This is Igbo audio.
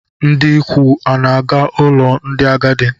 Ndị ikwu ana-aga n'ụlọ ndị agadi?